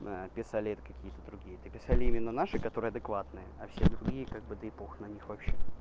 писали это какие-то другие это писали именно наши которые адекватны а все другие как бы да и похуй на них вообще